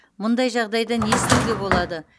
мұндай жағдайда не істеуге болады